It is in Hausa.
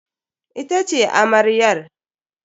Ita ce amaryar.